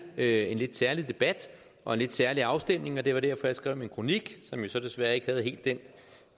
det en lidt særlig debat og en lidt særlig afstemning og det var derfor jeg skrev min kronik som jo så desværre ikke havde helt den